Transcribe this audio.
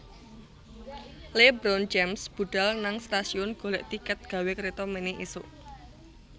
LeBron James budhal nang stasiun golek tiket gawe kreta mene isuk